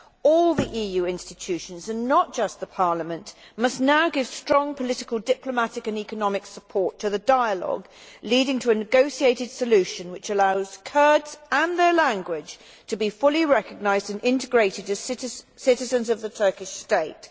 All the EU institutions, not just Parliament, must now give strong political diplomatic and economic support to the dialogue leading to a negotiated solution which allows Kurds, with their language, to be fully recognised and integrated as citizens of the Turkish state.